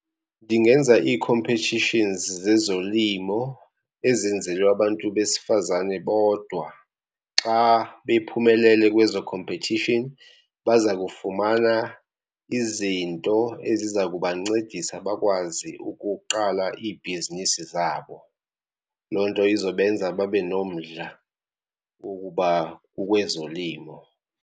Ndingenza ii-competitions zezolimo ezenzelwe abantu besifazane bodwa. Xa bephumelele kwezo khompethishini baza kufumana izinto eziza kubancedisa bakwazi ukuqala iibhizinisi zabo. Loo nto izobenza babe nomdla ukuba kukwezolimo.